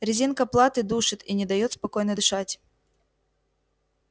резинка платы душит и не даёт спокойно дышать